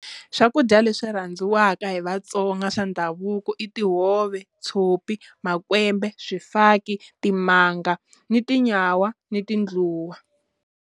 Swakudya leswi rhandziwaka hi Vatsonga swa ndhavuko i tihove, tshopi, makwembe, swifaki, timanga ni tinyawa ni tindluwa.